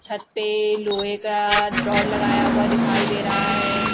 छत पे लोहे का ड्रॉ लगाया हुआ दिखाई दे रहा है।